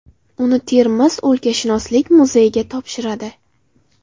Uni Termiz o‘lkashunoslik muzeyiga topshiradi.